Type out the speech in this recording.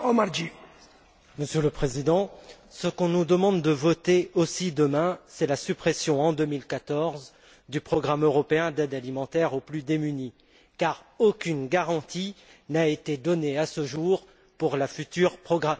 Monsieur le Président, ce qu'on nous demande de voter aussi demain, c'est la suppression en 2014 du programme européen d'aide alimentaire aux plus démunis, car aucune garantie n'a été donnée à ce jour quant à la future programmation.